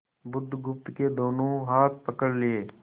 बुधगुप्त के दोनों हाथ पकड़ लिए